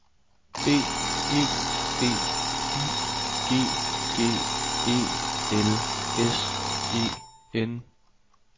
B E B Y G G E L S E N